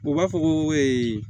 U b'a fɔ ko ee